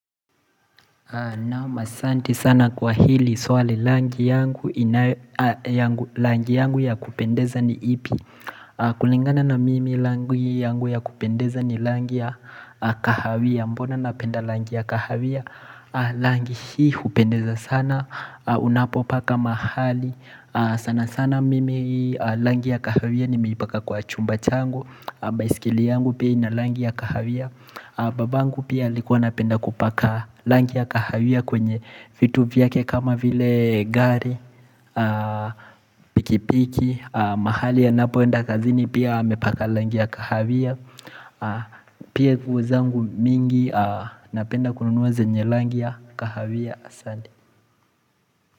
Naam asante sana kwa hili swali rangi yangu ya kupendeza ni ipi kulingana na mimi rangi yangu ya kupendeza ni rangi ya kahawia Mbona napenda rangi ya kahawia rangi hii hupendeza sana Unapopaka mahali sana sana mimi rangi ya kahawia nimeipaka kwa chumba changu baiskeli yangu pia ina rangi ya kahawia babangu pia alikuwa napenda kupaka rangi ya kahawia kwenye vitu vyake kama vile gari Pikipiki, mahali anapoenda kazini pia amepaka rangi ya kahawia Pia nguo zangu mingi napenda kununua zenye rangi ya kahawia asante.